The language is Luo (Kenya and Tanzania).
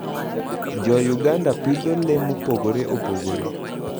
Jouganda pidho le mopogore opogore.